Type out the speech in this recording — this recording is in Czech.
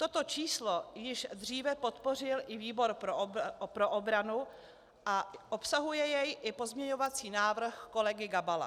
Toto číslo již dříve podpořil i výbor pro obranu a obsahuje jej i pozměňovací návrh kolegy Gabala.